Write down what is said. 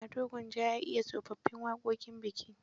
Ado Gwanja ya iya tsofaffin waƙoƙin biki.